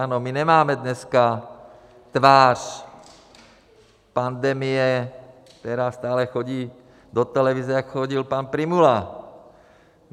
Ano, my nemáme dneska tvář pandemie, která stále chodí do televize, jako chodil pan Prymula.